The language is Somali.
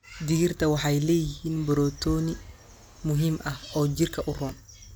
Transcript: Digirta waxay leeyihiin borotiin muhiim ah oo jirka u roon.